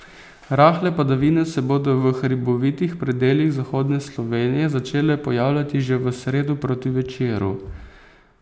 Rahle padavine se bodo v hribovitih predelih zahodne Slovenije začele pojavljati že v sredo proti večeru.